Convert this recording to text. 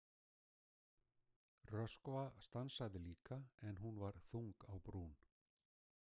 Röskva stansaði líka en hún var þung á brún.